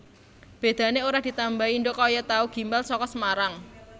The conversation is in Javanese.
Bedane ora ditambahi ndhog kaya tahu gimbal saka Semarang